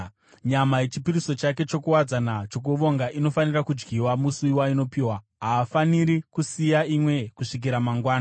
Nyama yechipiriso chake chokuwadzana chokuvonga inofanira kudyiwa musi wainopiwa. Haafaniri kusiya imwe kusvikira mangwanani.